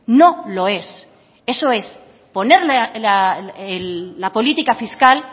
no lo es eso es poner la política fiscal